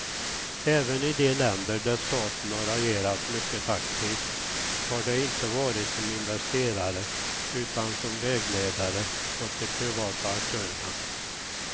Även i de länder där staten har agerat mycket aktivt har det inte varit som investerare utan som vägledare åt de privata aktörerna.